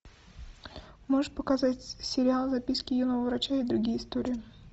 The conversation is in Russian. можешь показать сериал записки юного врача и другие истории